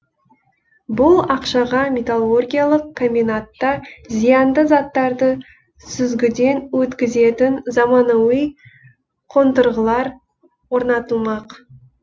бұл ақшаға металлургиялық комбинатта зиянды заттарды сүзгіден өткізетін заманауи қондырғылар орнатылмақ